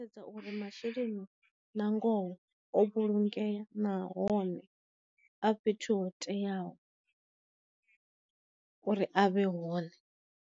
Sedza uri masheleni na ngoho o vhulungeya na hone a fhethu ho teaho uri a vhe hone.